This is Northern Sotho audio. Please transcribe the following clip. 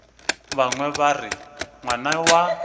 bangwe ba re ngwana wa